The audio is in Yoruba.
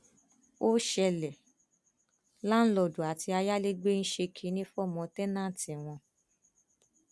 ó ṣẹlẹ láńlọọdù àti ayálégbé ń ṣe kínní fọmọ tẹńtẹǹtì wọn